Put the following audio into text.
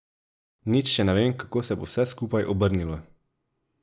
Nič še ne vem, kako se bo vse skupaj obrnilo.